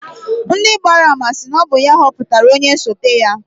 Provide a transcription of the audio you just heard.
Ndị gbara ama sị na ọ bụ ya họpụtara onye osote ya.